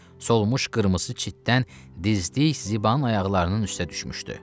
Solmuş qırmızı çitdən dizlik Ziban ayaqlarının üstə düşmüşdü.